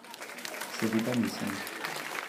Seveda nisem.